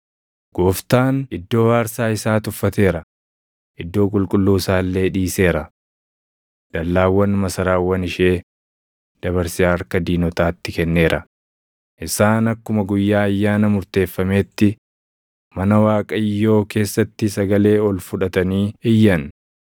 Gooftaan iddoo aarsaa isaa tuffateera; iddoo qulqulluu isaa illee dhiiseera. Dallaawwan masaraawwan ishee dabarsee harka diinotaatti kenneera; isaan akkuma guyyaa ayyaana murteeffameetti mana Waaqayyoo keessatti sagalee ol fudhatanii iyyan.